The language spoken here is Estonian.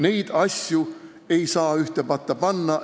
Neid asju ei saa ühte patta panna.